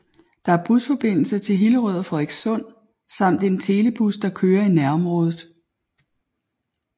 Der er busforbindelse til Hillerød og Frederikssund samt en telebus der kører i nærområdet